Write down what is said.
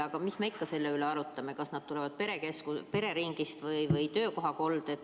Aga mis me ikka selle üle arutame, kas nad tekivad pereringis või töökohal.